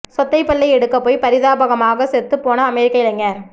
சொத்தைப் பல்லை எடுக்கப் போய் பரிதாபமாக செத்துப் போன அமெரிக்க இளைஞர்